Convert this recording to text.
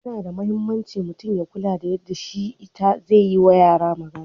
Yana da mahimmanci mutum ya kula da yadda shi/ita zai yi wa yara magana.